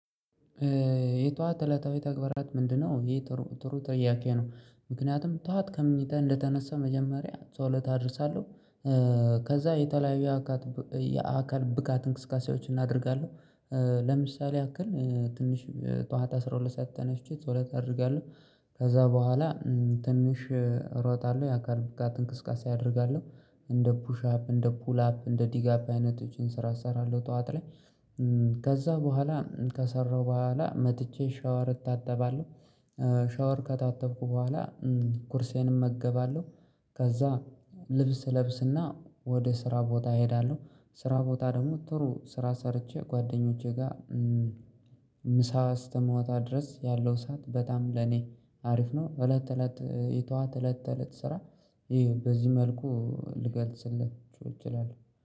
የጠዋት እለታዊ ተግባራት ምንድነው? ይሄ ጥሩ ጥሩ ጥያቄ ነው ምክንያቱም ጠዋት ከምኝታ እንደተነሳው መጀመሪያ ጸሎት አደርሳለሁ። ከዛ የተለያዩ የአካት የአካል ብቃት እንቅስቃሴዎችን አደርጋለሁ። ለምሳሌ ያክል ትንሽ ጠዋት አስራ ሁለት ሰዓት ተነስቼ ጸሎት አደርጋለሁ። ከዛ በኋላ ትንሽ እሮጣለሁ የአካል ብቃት እንቅስቃሴ አደርጋለሁ። እንደ ፑሻፕ እንደ ፑል አፕ እንደ ዲጋፕ አይነቶችን ስራ እሰራለሁ ጠዋት ላይ ከዛ በኋላ ከሰራሁ በኋላ መጥቼ ሻወር እታጠባለሁ። ሻወር ከታጠብኩ በኋላ ቁርሴን እመገባለሁ። ከዛ ልብስ ለብስና ወደ ስራ ቦታ እሄዳለሁ። ስራ ቦታ ደግሞ ጥሩ ስራ ሰርቼ ጓደኞቼ ጋር ምሳ እስከምወጣ ድረስ ያለው ሰዓት በጣም ለኔ አሪፍ ነው። እለት እለት የጠዋት እለት ተለት ስራ። በዚህ መልኩ ልገልጽለት ይችላል